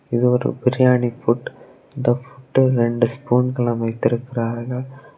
இது ஒரு பிரியாணி பூட் இந்த பூட் ரெண்டு ஸ்பூன்கலம் வைத்திருக்கிறார்கள்.